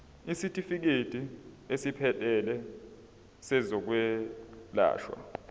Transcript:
isitifikedi esiphelele sezokwelashwa